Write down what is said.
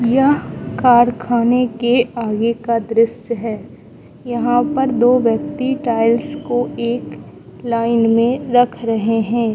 यह कारखाने के आगे का दृश्य है यहां पर दो व्यक्ति टाइल्स को एक लाइन में रख रहे हैं।